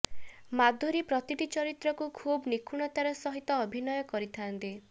ମାଧୁରୀ ପ୍ରତିଟି ଚରିତ୍ରକୁ ଖୁବ୍ ନିଖୁଣତାର ସହ ଅଭିନୟ କରିଥାନ୍ତି